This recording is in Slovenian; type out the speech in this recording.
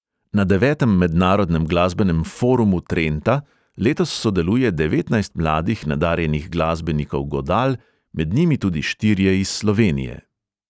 Na devetem mednarodnem glasbenem forumu trenta letos sodeluje devetnajst mladih nadarjenih glasbenikov godal, med njimi tudi štirje iz slovenije.